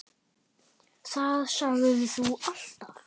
Það sagðir þú alltaf.